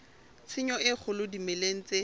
tshenyo e kgolo dimeleng tse